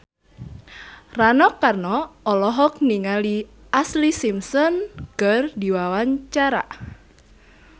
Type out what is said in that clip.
Rano Karno olohok ningali Ashlee Simpson keur diwawancara